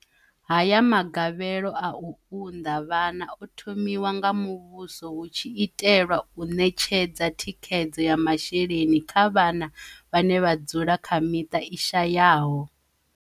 Haya magavhelo a u unḓa vhana o thomiwa nga muvhuso hu tshi itelwa u ṋetshedza thikhedzo ya masheleni kha vhana vhane vha dzula kha miṱa i shayaho.